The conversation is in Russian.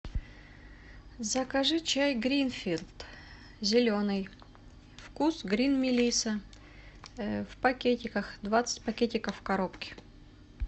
закажи чай гринфилд зеленый вкус грин мелисса в пакетиках двадцать пакетиков в коробке